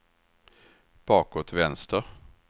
bakåt vänster